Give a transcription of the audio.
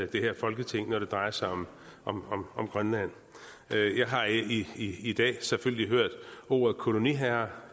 det her folketing når det drejer sig om om grønland jeg har i i dag selvfølgelig hørt ordet koloniherre